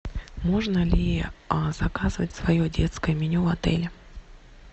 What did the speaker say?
можно ли заказывать свое детское меню в отеле